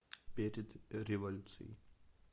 перед революцией